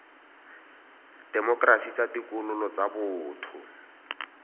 temokerasi tsa ditokololo tsa boto